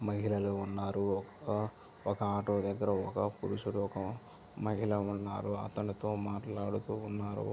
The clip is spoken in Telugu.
మహిళలు ఉన్నారు ఒక ఆటో దగ్గర ఒక మహిళ ఒక పురుషుడు ఉన్నారు అతనితో మాట్లాడుతూ ఉన్నారు.